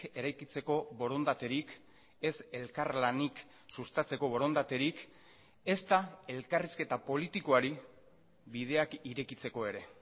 eraikitzeko borondaterik ez elkarlanik sustatzeko borondaterik ezta elkarrizketa politikoari bideak irekitzeko ere